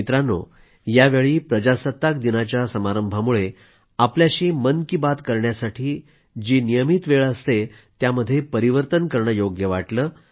मित्रांनो यावेळी प्रजासत्ताक दिनाच्या समारंभामुळे आपल्याशी मन की बात करण्यासाठी जी नियमित वेळ असते त्यामध्ये परिवर्तन करणं योग्य वाटलं